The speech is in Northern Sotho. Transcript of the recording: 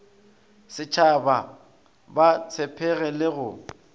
setshaba ba tshepege le go